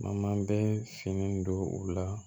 Ma bɛ siŋɛ don o la